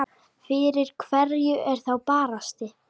Fyrir hverju er þá barist?